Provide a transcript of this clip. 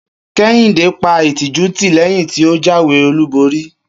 Kehinde pa ìtìjú tì léyìn tí o jáwé olúborí